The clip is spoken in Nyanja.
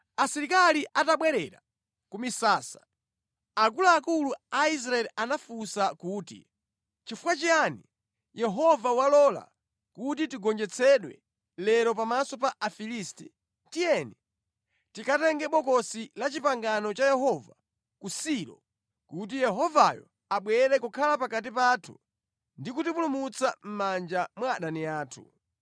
Asilikali atabwerera ku misasa, akuluakulu a Israeli anafunsa kuti, “Nʼchifukwa chiyani Yehova walola kuti tigonjetsedwe lero pamaso pa Afilisti? Tiyeni tikatenge Bokosi la Chipangano cha Yehova ku Silo kuti Yehovayo abwere kukhala pakati pathu ndi kutipulumutsa mʼmanja mwa adani athu.”